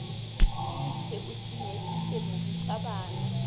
tiiše o se nyefiše morutabana